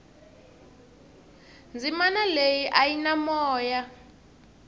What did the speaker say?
dzimana leyia a yi na moya